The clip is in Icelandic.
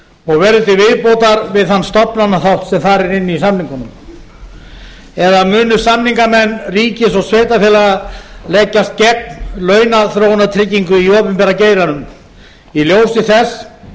og verði til viðbótar við þann stofnanaþátt sem þar er inni í samningunum eða munu samningamenn ríkis og sveitarfélaga leggjast gegn launaþróunartryggingu í opinbera geiranum í ljósi þess